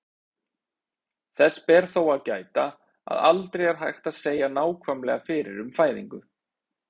Þess ber þó að gæta, að aldrei er hægt að segja nákvæmlega fyrir um fæðingu.